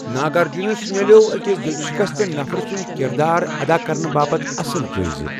ناگارجنَس مِلٮ۪وٚو أکِس دل شکستہٕ نفرُن کِردار ادا کرنہٕ باپتھ اصل جٲئز۔